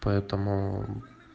поэтому